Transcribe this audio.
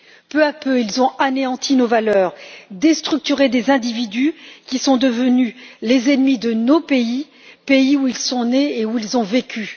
Peu à peu, ils ont anéanti nos valeurs, déstructuré des individus qui sont devenus les ennemis de nos pays, où ils sont nés et où ils ont vécu.